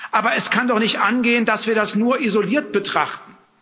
Aber es kann doch nicht angehen, dass wir das nur isoliert betrachten.